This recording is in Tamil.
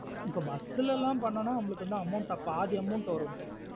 இப்போ bus லாம் பண்ணானோ நம்மளுக்கு amount ல amount ஆ பாதி amount வருமே.